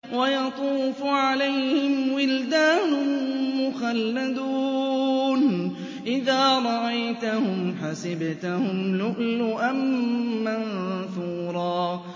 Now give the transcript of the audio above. ۞ وَيَطُوفُ عَلَيْهِمْ وِلْدَانٌ مُّخَلَّدُونَ إِذَا رَأَيْتَهُمْ حَسِبْتَهُمْ لُؤْلُؤًا مَّنثُورًا